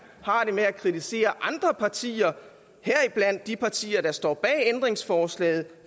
har det med at kritisere andre partier heriblandt de partier der står bag ændringsforslaget